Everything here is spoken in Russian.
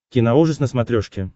киноужас на смотрешке